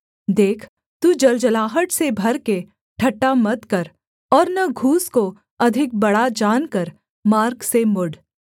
देख तू जलजलाहट से भर के ठट्ठा मत कर और न घूस को अधिक बड़ा जानकर मार्ग से मुड़